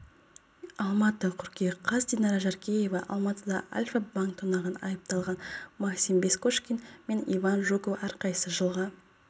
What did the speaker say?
алматы қыркүйек қаз динара жаркеева алматыда альфа-банк тонаған айыпталған максим бескошкин мен иван жуков әрқайсысы жылға